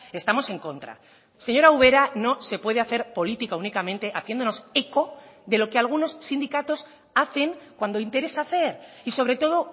estamos en contra señora ubera no se puede hacer política únicamente haciéndonos eco de lo que algunos sindicatos hacen cuando interesa hacer y sobre todo